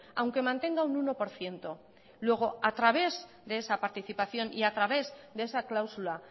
aunque mantenga un uno por ciento luego a través de esa participación y a través de esa cláusula